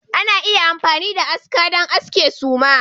Ana iya amfani da aska don aske suma